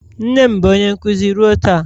Nne m bụ onye nkuzi ruo taa